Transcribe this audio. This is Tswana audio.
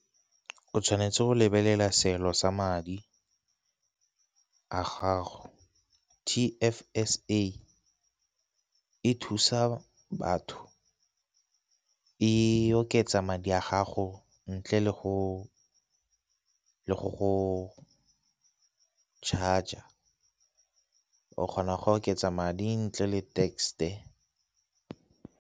O tshwanetse go lebelela seelo sa madi a gago. T_F_S_A e thusa batho e oketsa madi a gago ntle le go, le go go charge o kgona go oketsa madi ntle le .